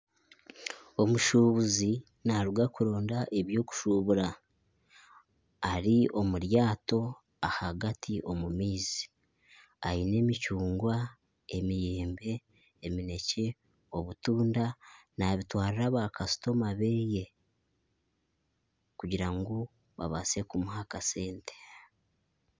Omushuubuzi naaruga kuronda eby'okushuubura. Ari omu ryato ahagati mu maizi. Aine emicungwa, eminekye, emiyembe, obutunda naabitwarira baakasitoma be kugira ngu babaase kumuha aha kasente.